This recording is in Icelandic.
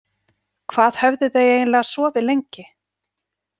Hvað höfðu þau eiginlega sofið lengi?